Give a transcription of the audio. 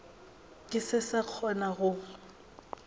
ke se sa kgona go